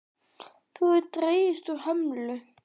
Það hefur dregist úr hömlu.